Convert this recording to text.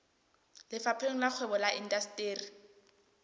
lefapheng la kgwebo le indasteri